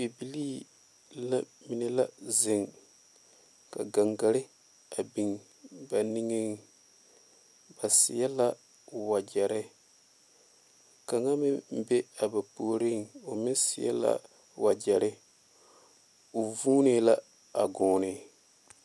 Bibiiri la mine la zeŋ ka gaŋgaare a biŋ ba niŋe ba seɛ la wagyere kaŋa meŋ be a ba puori o meŋ seɛ la wagyere o vuunee la a gɔnne.